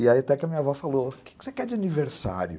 E aí até que a minha avó falou, o que você quer de aniversário?